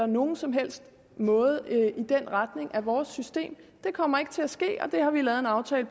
nogen som helst måde af vores system det kommer ikke til at ske og det har vi lavet en aftale